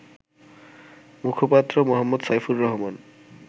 মুখপাত্র মো. সাইফুর রহমান